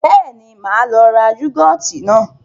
Bẹ́ẹ̀ni, máa lọ ra yúgọ́ọ́tì náà.